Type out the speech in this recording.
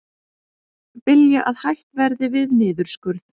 Vilja að hætt verði við niðurskurð